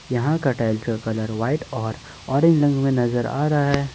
यहां का टाइल्स का कलर व्हाइट और ऑरेंज रंग में नजर आ रहा है।